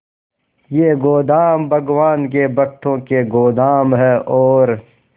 ये गोदाम भगवान के भक्तों के गोदाम है और